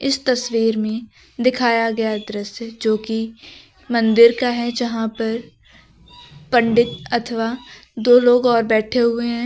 इस तस्वीर में दिखाया गया दृश्य जो कि मंदिर का है यहां पर पंडित अथवा दो लोग और बैठे हुए हैं।